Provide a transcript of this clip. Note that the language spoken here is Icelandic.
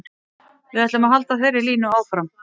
Við ætlum að halda þeirri línu áfram.